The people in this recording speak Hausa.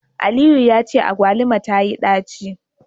Aliyu yace agbaluma tayi daci